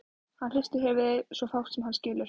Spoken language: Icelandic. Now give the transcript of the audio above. Hann hristir höfuðið, svo fátt sem hann skilur.